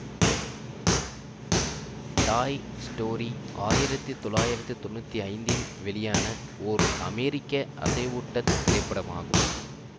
டாய் Story ஆயிரத்தி தொளாயிரத்தி தொன்னுத்தி ஐந்து இல் வெளியான ஒர் அமெரிக்க அசைவூட்டத் திரைப்படமாகும்